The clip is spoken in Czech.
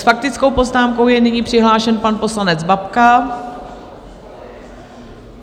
S faktickou poznámkou je nyní přihlášen pan poslanec Babka.